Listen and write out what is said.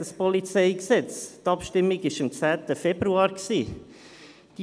Die Abstimmung über das PolG fand am 10. Februar statt.